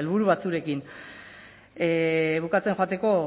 helburu batzuekin bukatzen joateko